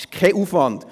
Das ist kein Aufwand.